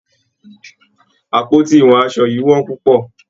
Àpótí ìwọ aṣọ yìí wón púpọ̀.